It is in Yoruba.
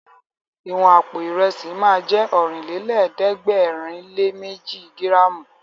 Ìwọ̀n àpò Ìrẹ́sì ma jẹ́ Ọ̀rìnlélẹ̀ẹ́dẹ́gbèrinléméji gíràmù